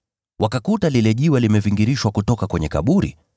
Wakakuta lile jiwe limevingirishwa kutoka kwenye kaburi,